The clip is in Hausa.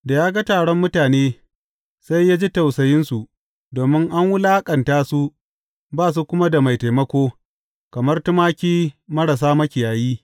Da ya ga taron mutane, sai ya ji tausayinsu, domin an wulaƙanta su ba su kuma da mai taimako, kamar tumaki marasa makiyayi.